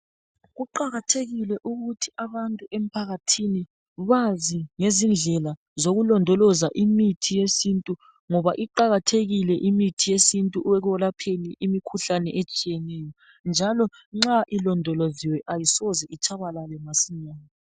Kuqakathekile ukuthi abantu emphakathini bazi ngezindlela zokulondoloza imithi yesintu ngoba iqakathekile imithi yesintu ekwelapheni imikhuhlane etshiyeneyo njalo nxa ilondoloziwe ayisoze itshabalale masinyane .